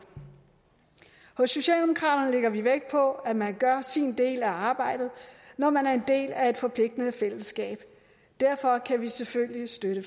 hos socialdemokraterne lægger vi vægt på at man gør sin del af arbejdet når man er en del af et forpligtende fællesskab og derfor kan vi selvfølgelig støtte